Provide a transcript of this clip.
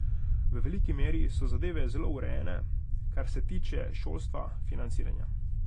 V veliki meri so zadeve zelo urejene, kar se tiče šolstva, financiranja.